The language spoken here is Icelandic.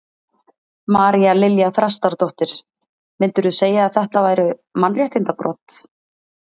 María Lilja Þrastardóttir: Myndirðu segja að þetta væru mannréttindabrot?